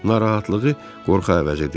Narahatlığı qorxa əvəz edirdi.